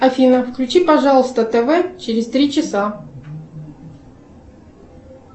афина включи пожалуйста тв через три часа